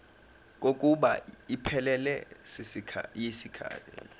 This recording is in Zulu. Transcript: kokuba iphelele yisikhathi